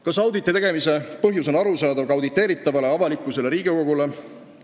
Kas auditi tegemise põhjus on arusaadav ka auditeeritavale, avalikkusele ja Riigikogule?